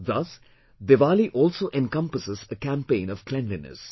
Thus, Diwali also encompasses a campaign of cleanliness